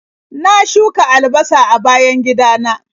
Na shuka albasa a bayan gidana.